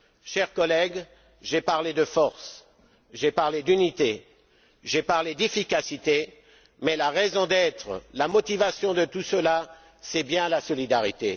Chers collègues, j'ai parlé de force, j'ai parlé d'unité, j'ai parlé d'efficacité, mais la raison d'être, la motivation de tout cela, c'est bien la solidarité.